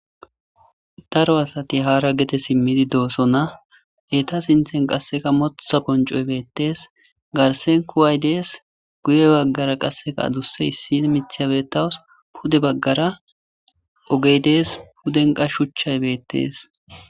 Daro asati hara gede simidi dosona eta sinten qaseka motha bonc'oy betes garsen kuway des guye bagara qaseka adusa issi mithiya betawus pude bagara ogey dees puden qa shuchchay betes.